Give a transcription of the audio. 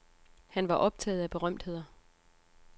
Han var optaget af berømtheder.